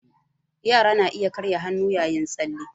Yara na iya karya ƙafa yayin tsalle